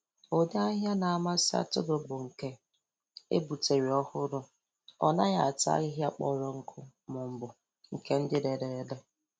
Ụdị ahịhịa na-amasị atụrụ bụ nke e gbutere ọhụrụ. O naghị ata ahịhịa kpọrọ nkụ maọbụ nke dị rere ere